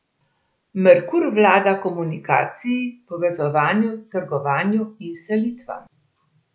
Merkur vlada komunikaciji, povezovanju, trgovanju in selitvam.